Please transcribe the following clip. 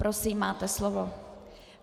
Prosím, máte slovo.